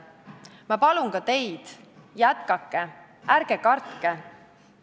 Ma palun ka teid: jätkake, ärge kartke!